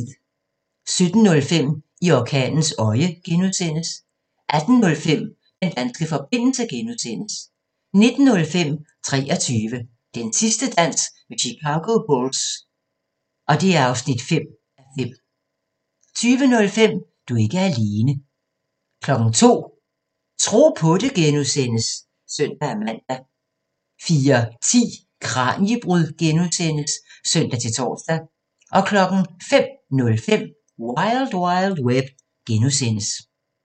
17:05: I orkanens øje (G) 18:05: Den danske forbindelse (G) 19:05: 23 – Den sidste dans med Chicago Bulls (5:5) 20:05: Du er ikke alene 02:00: Tro på det (G) (søn-man) 04:10: Kraniebrud (G) (søn-tor) 05:05: Wild Wild Web (G)